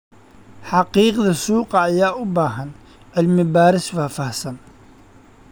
Xaqiiqda suuqa ayaa u baahan cilmi baaris faahfaahsan.